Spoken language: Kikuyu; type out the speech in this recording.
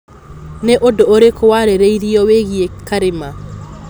Nĩ ũndũ ũrĩkũ warĩrĩirio wĩgiĩ Karĩma?